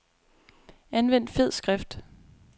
Anvend fed skrift.